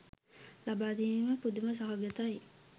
ලබාදීම පුදුම සහගතයි.